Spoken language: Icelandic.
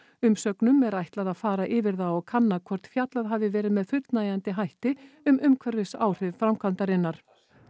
umsögnum er ætlað að fara yfir það og kanna hvort fjallað hafi verið með fullnægjandi hætti um umhverfisáhrif framkvæmdarinnar